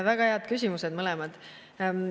Väga head küsimused on mõlemad.